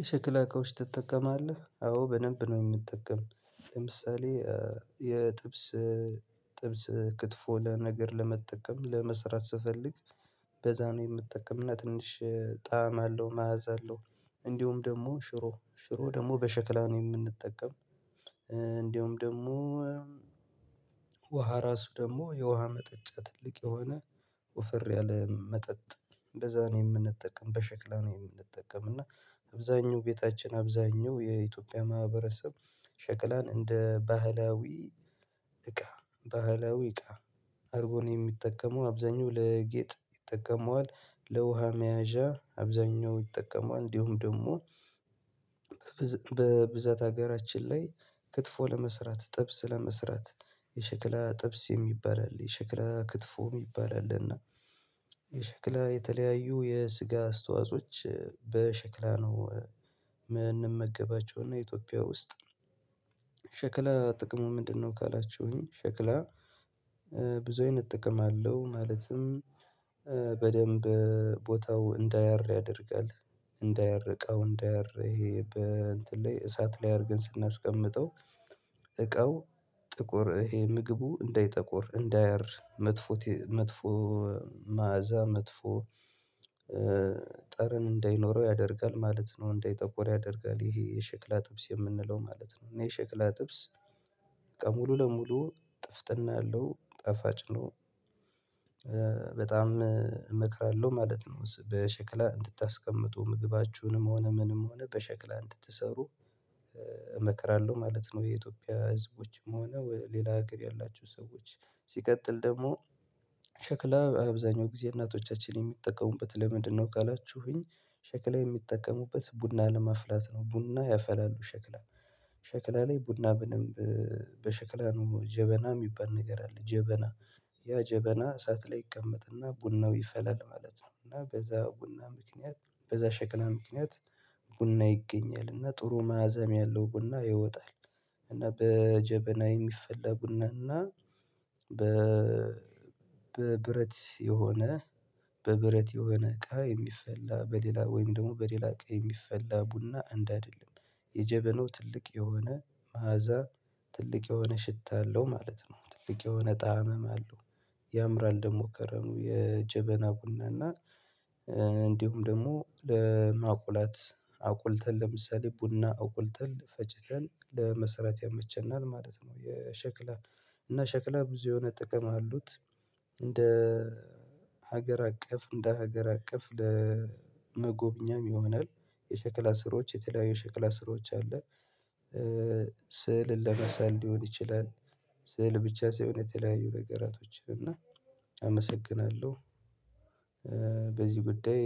የሸክላ ኮሽ ትጠቀማለህ? አዎ በደንብ ነው የምጠቀም። ለምሳሌ የጥብስ ጥብስ ክትፎ ለነገር ለመጠቀም ለመስራት ስፈልግ በዛ ነው የምጠቀምና ትንሽ ጣዕም አለው፤ መያዝ አለው። እንዲሁም ደግሞ ሽሮ ሽሮ ደግሞ በሸክላ ነው የምንጠቀም እንደውም ደግሞ ውሃ ራሱ ደግሞ የውሃ መጠጫ ትልቅ የሆነ ወፈር ያለ መጠጥ እንደዛ ነው የምንጠቀም በሽክላ ነው የምንጠቀም እና አብዛኛው ቤታችን አብዛኛው የኢትዮጵያ ማህበረሰብ ሸክላን እንደ ባህላዊ እቃ ባህላዊ እቃ አርጎ የሚጠቀመው። አብዛኛው ለጌጥ ይጠቀመዋል፤ ለውሃ መያዣ አብዛኛው ይጠቀመዋል እንዲሁም ደግሞ በብዛት ሀገራችን ላይ ክትፎ ለመስራት ጥብስ ለመስራት የሸክላ ጥብስ የሚባል አለ የሸክላ ክትፎ የሚባል አለ እና የሸክላ የተለያዩ የስጋ አስተዋጾች በሸክላ ነው የምንመገባቸው እና ኢትዮጵያ ውስጥ ሸክላ ጥቅሙ ምንድነው? ካላችሁኝ ሸክላ ብዙ አይነት ጥቅም አለው ማለትም በደንብ ቦታው እንዳያር ያደርጋል። እንዳያር እቃው እንዳያር ይሄ በእንትን ላይ እሳት ላይ አርገን ስናስቀምጠው እቃው ጥቁር ይሄ ምግቡ እንዳይጠቁር እንዳያር መጥፎ መጥፎ መዓዛ መጥፎ ጠረን እንዳይኖረው ያደርጋል ማለት ነው እንዳይጠቁር ያደርጋል ይሄ የሸክላ ጥብስ የምንለው ማለት ነው እና የሸክላ ጥብስ በቃ ሙሉ ለሙሉ ጥፍጥና ያለው ጠፋጭ ነው በጣም እመክራለሁ ማለት ነው። ስለ ሸክላ እንድታስቀምጡ ምግባችሁንም ሆነ ምንም ሆነ በሸክላ እንድትሰሩ ማለት ነው። የኢትዮጵያ ህዝቦችም ሆነ ሌላ ሀገር ያላቸው ሰዎች ሲቀጥል ደግሞ ሸክላ አብዛኛው ጊዜ እናቶቻችን የሚጠቀሙበት ለምንድነው ካላችሁኝ ሸክላ የሚጠቀሙበት ቡና ለመፍላት ነው ቡና ያፈላሉ ሸክላ ሸክላ ላይ ቡና በሸክላ ነው ጀበና የሚባል ነገር አለ ጀበና ያ ጀበና እሳት ላይ ይቀመጥና ቡናው ይፈላል ማለት ነው እና በዛ ቡና ምክንያት በዛ ሸቅላ ምክንያት ቡና ይገኛል እና ጥሩ መዓዛም ያለው ቡና ይወጣል እና በጀበና የሚፈላ ቡና እና በ በብረት የሆነ በብረት የሆነ እቃ የሚፈላ በሌላ ወይም ደግሞ በሌላ እቃ የሚፈላ ቡና አንድ አይደለም። የጀበናው ትልቅ የሆነ መዓዛ ትልቅ የሆነ ሽታ አለው ማለት ነው። ትልቅ የሆነ ጣዕምም አለው። ያምራል ደግሞ ከረኑ የጀበና ቡና እና እንዲሁም ደግሞ ለማቁላት አቁልተን ለምሳሌ ቡና አቁልተን ፈጭተን ለመሰራት ያመቸናል ማለት ነው። የሸክላ እና ሸክላ ብዙ የሆነ ጥቅም አሉት እንደ ሀገር አቀፍ እንደ ሀገር አቀፍ ለመጎብኛም ይሆናል። የሸክላ ስራዎች የተለያዩ ሸክላ ስራዎች አለ ስዕልን ለመሳል ሊሆን ይችላል ስዕል ብቻ ሳይሆን የተለያዩ ነገራቶችን እና አመሰግናለሁ በዚህ ጉዳይ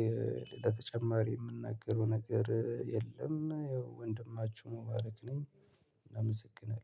ሌላ ተጨማሪ የምናገረው ነገር የለም ያው ወንድማችሁ ሙባረክ ነኝ አመሰግናለሁ።